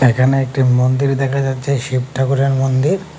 এখানে একটি মন্দির দেখা যাচ্ছে শিব ঠাকুরের মন্দির।